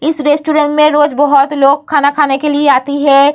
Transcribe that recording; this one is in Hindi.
इस रेस्टोरेंट में रोज बहुत लोग खाना खाने के लिए आती है ।